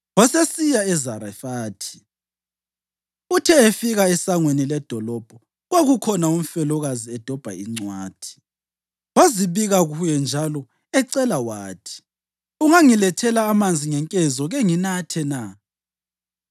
Wasesiya eZarefathi. Uthe efika esangweni ledolobho, kwakukhona umfelokazi edobha incwathi. Wazibika kuye njalo ecela wathi, “Ungangilethela amanzi ngenkezo kenginathe na?”